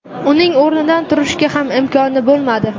Uning o‘rnidan turishga ham imkoni bo‘lmadi.